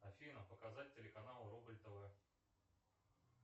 афина показать телеканал рубль тв